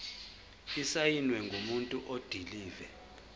esisayinwe ngumuntu odilive